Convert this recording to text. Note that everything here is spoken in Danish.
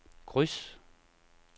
kryds